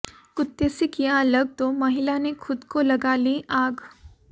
कुत्ते से किया अलग तो महिला ने खुद को लगा ली आग